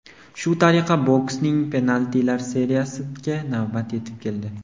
Shu tariqa boksning penaltilar seriyasiga navbat yetib keldi.